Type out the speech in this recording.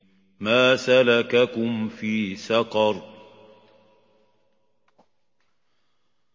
مَا سَلَكَكُمْ فِي سَقَرَ